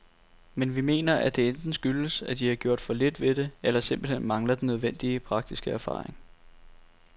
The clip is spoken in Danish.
Men vi mener at det enten skyldes, at de har gjort for lidt ved det eller simpelthen mangler den nødvendige, praktiske erfaring.